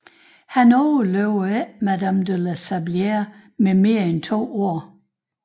Han overlevede ikke madame de la Sablière med mere end to år